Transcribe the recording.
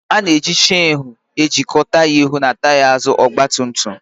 Ana-eji cheenu ejikọ taya ihu na taya azụ ọgba tum tum